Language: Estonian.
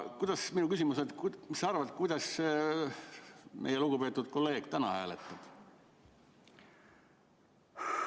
Minu küsimus on: mis sa arvad, kuidas meie lugupeetud kolleeg täna hääletab?